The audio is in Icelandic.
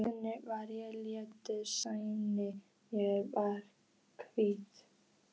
Einu sinni var ég léttari, sælli, mér var hlýtt.